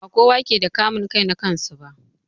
Ba kowa ke da kamun kai na kansu ba.